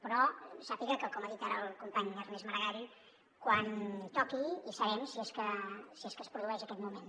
però sàpiga que com ha dit ara el company ernest maragall quan toqui hi serem si és que es produeix aquest moment